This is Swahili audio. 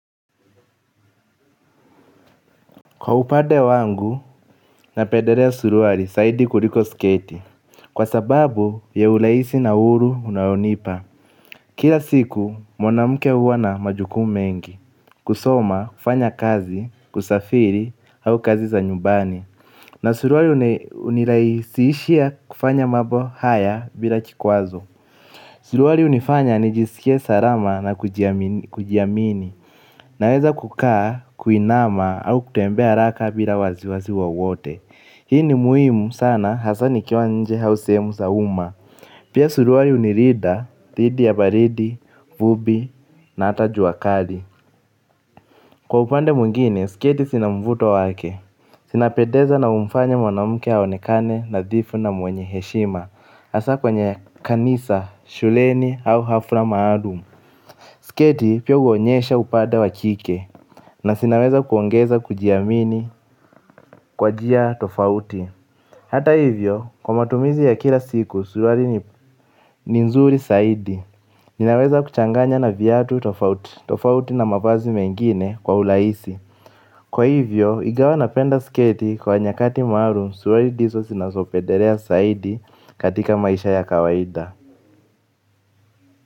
Kwa upade wangu, na pedelea suruari saidi kuliko sketi. Kwa sababu ya uleisi na uhuru unaonipa. Kila siku, mwanamke huwa na majukumu mengi. Kusoma, kufanya kazi, kusafiri, au kazi za nyumbani. Na suruari unilaisiishia kufanya mambo haya bila kikwazo. Suruari unifanya nijisikie sarama na kujiamini. Naweza kukaa, kuinama au kutembea haraka bila wazi wazi wowote. Hii ni muhimu sana hasa nikiwa nje hau sehemu za uma. Pia suruari unirida, didi ya baridi, vubi na ata juakali. Kwa upande mwingine, skedi sinamvuto wake. Sina pedeza na umfanya mwanamuke aonekane nadhifu na mwenye heshima. Hasa kwenye kanisa, shuleni au hafra maadum. Skedi pia uonyesha upande wa kike. Na sinaweza kuongeza kujiamini kwa njia tofauti. Hata hivyo, kwa matumizi ya kila siku, suruari ni nzuri zaidi. Ninaweza kuchanganya na viatu tofauti na mavazi mengine kwa ulaisi. Kwa hivyo, ingawa napenda sketi kwa nyakati maalum, suruari diso sinasopedelea saidi katika maisha ya kawaida.